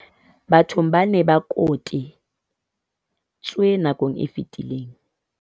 bathong ba neng ba kote tswe nakong e fetileng.